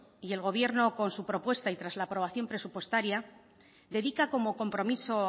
y el gobierno con su propuesta y tras la aprobación presupuestaria dedican como compromiso